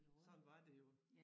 Sådan var det jo